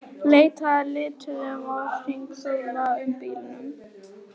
Leitað að lituðum að hringsóla um í bílum.